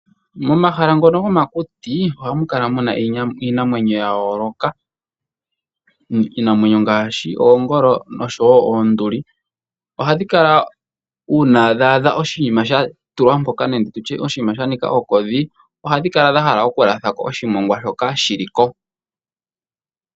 Momahala ngono gomakuti ohamu kala muna iinamwenyo ya yooloka. Iinamwenyo ngaashi oongolo noshowo oonduli ohadhi kala uuna dha adha oshinima sha tulwa mpoka nenge tutye oshinima sha nika ongodhi ohadhi kala dha hala okulatha ko oshimongwa shoka shili ko.